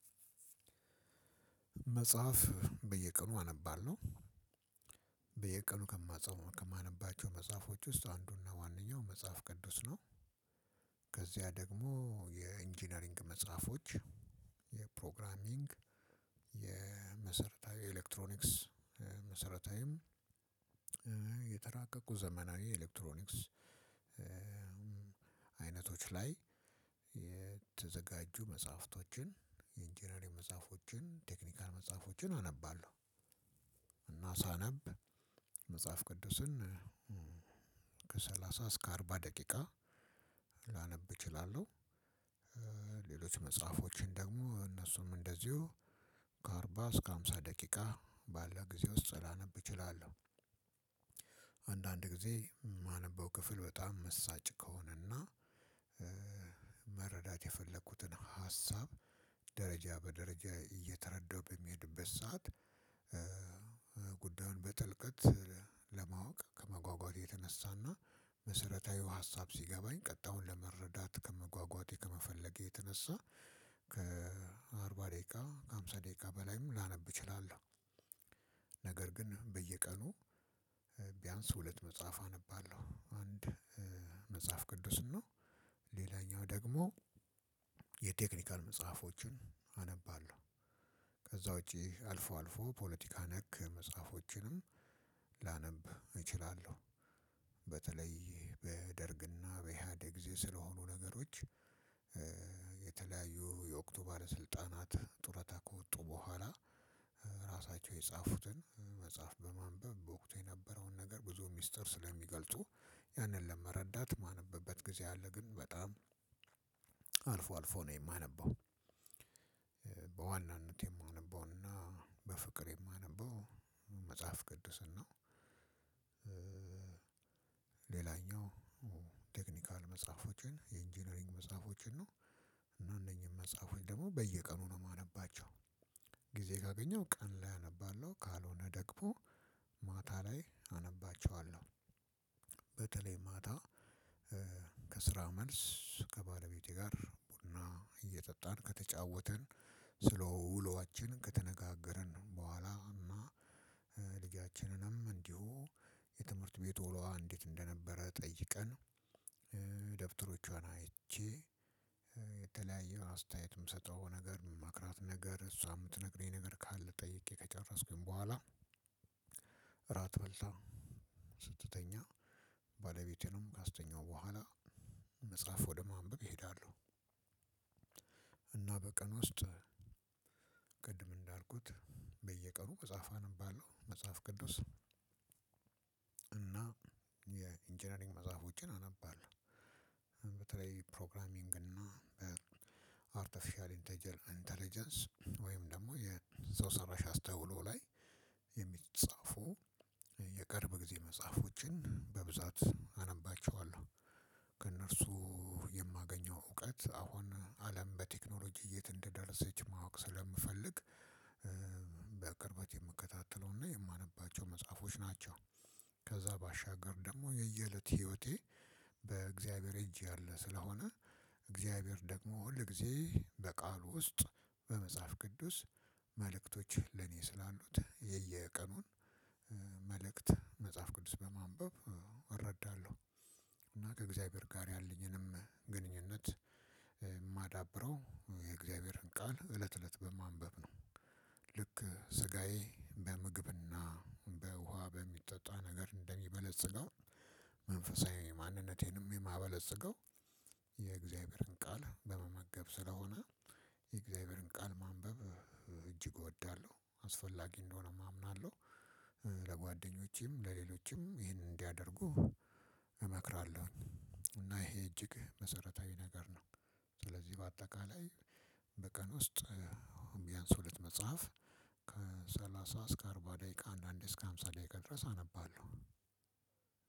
መጽሐፍ በየቀኑ አነባለሁ። በየቀኑ ከማፀው ከማነባቸው መጽሐፎች ውስጥ አንዱና ዋነኛው መጽሐፍ ቅዱስ ነው። ከዚያ ደግሞ የኢንጂነሪንግ መጽሐፎች የፕሮግራሚንግ የመሰረታዊ ኤሌክትሮኒክስ መሰረታዊም የተራቀቁ ዘመናዊ ኤሌክትሮኒክስ አይነቶች ላይ የተዘጋጁ መጽሐፍቶችን የኢንጂነሪንግ መጽሐፎችን ቴክኒካል መጽሐፎችን አነባለሁ። እና ሳነብ መጽሐፍ ቅዱስን ከሰላሳ እስከ አርባ ደቂቃ ላነብ እችላለሁ። ሌሎች መጽሐፎችን ደግሞ እነሱም እንደዚሁ ከአርባ እስከ ሃምሳ ደቂቃ ባለ ጊዜ ውስጥ ላነብ እችላለሁ። አንዳንድ ጊዜ የማነበው ክፍል በጣም መሳጭ ከሆነና መረዳት የፈለኩትን ሀሳብ ደረጃ በደረጃ እየተረዳሁ በሚሄድበት ሰዓት ጉዳዩን በጥልቀት ለማወቅ ከመጓጓቴ የተነሳና መሰረታዊው ሀሳብ ሲገባኝ ቀጣዩን ለመረዳት ከመጓጓቴ ከመፈለጌ የተነሳ። ከአርባ ደቂቃ ከሀምሳ ደቂቃ በላይም ላነብ እችላለሁ። ነገር ግን በየቀኑ ቢያንስ ሁለት መጽሐፍ አነባለሁ አንድ መጽሐፍ ቅዱስ ነው ሌላኛው ደግሞ የቴክኒካል መጽሐፎችን አነባለሁ። ከዛ ውጪ አልፎ አልፎ ፖለቲካ ነክ መጽሐፎችንም ላነብ እችላለሁ። በተለይ በደርግና በእሓድግ ጊዜ ስለሆኑ ነገሮች የተለያዩ የወቅቱ ባለስልጣናት ጡረታ ከወጡ በኋላ ራሳቸው የጻፉትን መጽሐፍ በማንበብ በወቅቱ የነበረውን ነገር ብዙ ሚስጥር ስለሚገልጡ ያንን ለመረዳት የማነብበት ጊዜ አለ ግን በጣም አልፎ አልፎ ነው የማነበው። በዋናነት የማነበውና በፍቅር የማነበው መጽሐፍ ቅድስን ነው። ሌላኛው ቴክኒካል መጽሐፎችን የኢንጂነሪንግ መጽሐፎችን ነው እና እነኚህን መጽሐፎች ደግሞ በየቀኑ ነው የማነባቸው። ጊዜ ካገኘሁ ቀን ላይ አነባለሁ ካልሆነ ደግሞ ማታ ላይ አነባቸዋለሁ። በተለይ ማታ ከስራ መልስ ከባለቤቴ ጋር ቡና እየጠጣን ከተጫወትን ስለ ውሏችን ከተነጋገርን በኋላ ልጃችንንም እንዲሁ የትምህርት ቤት ውሏ እንዴት እንደነበረ ጠይቀን ደብተሮቿን አይቼ የተለያየ አስተያየት የምሰጠው ነገር የምመክራት ነገር እሷ የምትነግረኝ ነገር ካለ ጠይቄ ከጨረስኩኝ በኋላ ራት በልታ ስትተኛ ባለቤቴንም ካስተኛሁ ቦኃላ መጽሐፍ ወደ ማንበብ እሄዳለሁ። እና በቀን ውስጥ ቅድም እንዳልኩት በየቀኑ መጽሐፍ አነባለሁ መጽሐፍ ቅዱስ እና የኢንጂነሪንግ መጽሐፎችን አነባለሁ። በተለይ ፕሮግራሚንግ እና በአርተፊሻልእንተጀለ እንተለጀንስ ወይም ደግሞ ሰው ሰራሽ አስተውሎ ላይ የምፃፉ የቅርብ ጊዜ መጽሐፎችን በብዛት አነባቸዋለሁ። ከእነርሱ የማገኘው እውቀት አሁን አለም በቴክኖሎጂ የት እንደደረሰች ማወቅ ስለምፈልግ በቅርበት የምከታተለውና የማነባቸው መጽሐፎች ናቸው። ከዛ ባሻገር ደግሞ የየእለት ህይወቴ በእግዚአብሔር እጅ ያለ ስለሆነ እግዚአብሔር ደግሞ ሁል ጊዜ በቃሉ ውስጥ በመጽሐፍ ቅዱስ መልእክቶች ለኔ ስላሉት የየቀኑን መልእክት መጽሐፍ ቅዱስ በማንበብ እረዳለሁ። እና ከእግዚአብሔር ጋር ያለኝንም ግንኙነት የማዳብረው የእግዚአብሔርን ቃል እለት እለት በማንበብ ነው። ልክ ስጋዬ በምግብና በውሃ በሚጠጣ ነገር እንደሚበለጽገው መንፈሳዊ ማንነቴንም የማበለጽገው የእግዚአብሔርን ቃል በመመገብ ስለሆነ የእግዚአብሔርን ቃል ማንበብ እጅግ እወዳለሁ። አስፈላጊ እንደሆነም አምናለሁ። ለጓደኞቼም ለሌሎችም ይሄን እንዲያደርጉ እመክራለሁኝ። እና ይሄ እጅግ መሰረታዊ ነገር ነው። ስለዚህ በአጠቃላይ በቀን ውስጥ ቢያንስ ሁለት መጽሐፍ ከሰላሳ እስከ አርባ ደቂቃ አንዳንዴ እስከ ሃምሳ ደቂቃ ድረስ አነባለሁ።